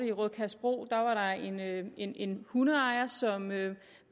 i rødkjærsbro en en hundeejer som